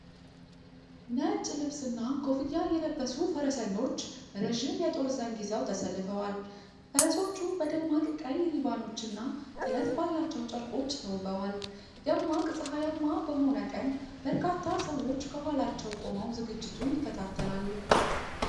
ነጭ ልብስና ኮፍያ የለበሱ ፈረሰኞች ረዥም የጦር ዘንግ ይዘው ተሰልፈዋል። ፈረሶቹ በደማቅ ቀይ ሪባኖች እና ጥለት ባላቸው ጨርቆች ተውበዋል። ደማቅ ፀሐያማ በሆነ ቀን በርካታ ሰዎች ከኋላቸው ቆመው ዝግጅቱን ይከታተላሉ።